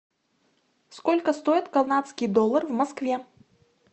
сколько стоит канадский доллар в москве